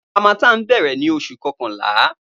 Harmattan bẹrẹ ni Oṣu kọkanla